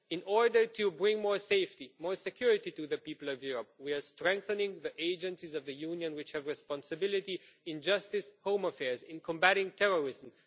In order to bring more safety and more security to the people of Europe we are strengthening the agencies of the Union which have responsibilities in justice and home affairs and in combating terrorism.